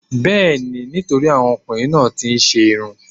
Bẹẹni, nítorí àwọn ọkùnrin náà tí ń ṣe'rún.